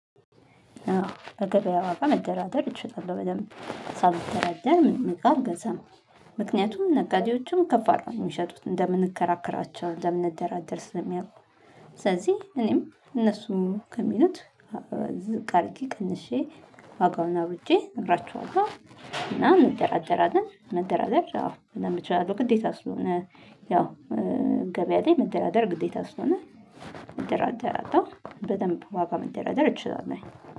አዎ በገበያ ዋጋ መደራደር እችላለሁ። በደንብ ሳይደራደር ምንም እቃ አልገዛም። ምክንያቱም ነጋዴዎችም ከፍ አድርገው የሚሸጡት። እንደምንከራከራቸው እንደምንደራደር ስለሚያውቁ። ስለዚህ እኔም እነሱ ከሚሉት ዝቅ አድርጌ ቀንሼ ዋጋውን አውጥቼ እነግራቸዋለሁ። እና እንደራደራለን። መደራደር ያው በደንብ እችላለሁ ግዴታ ስለሆነ ያው ገበያ ላይ መደራደር ግዴታ ስለሆነ እደራደራለው። በደንብ ዋጋ መደራደር እችላለሁ።